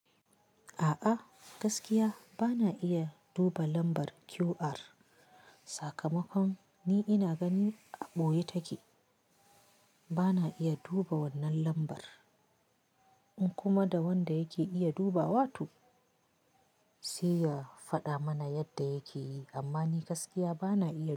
A'a gaskiya bana iya duba lambar QR. Sakamakon ni ina gani a ɓoye take. Bana iya duba wannan lambar, in kuma da wanda yake iya dubawa toh, sai ya faɗa mana yadda yake yi, amma ni gaskiya bana iya.